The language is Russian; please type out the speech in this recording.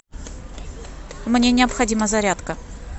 мне необходима зарядка